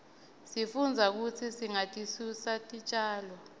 sifundza kutsi singatisusi titjalo